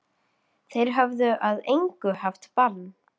Þeir höfðu að engu haft bann